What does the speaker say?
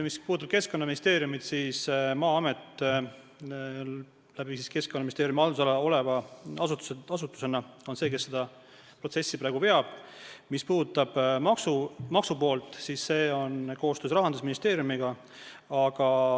Mis puudutab Keskkonnaministeeriumit, siis Maa-amet Keskkonnaministeeriumi haldusalas oleva asutusena on see, kes seda protsessi praegu veab, ja mis puudutab maksupoolt, siis siin on koostöö Rahandusministeeriumiga.